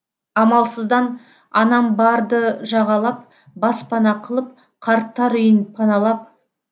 амалсыздан анам барды жағалап баспана қылып қарттар үйін паналап